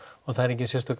það er engin sérstök